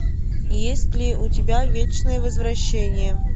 есть ли у тебя вечное возвращение